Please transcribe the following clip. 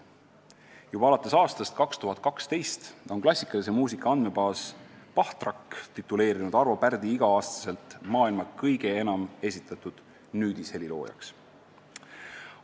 Juba alates aastast 2012 on klassikalise muusika andmebaas Bachtrack tituleerinud Arvo Pärdi igal aastal maailma kõige enam esitatud nüüdisheliloojaks.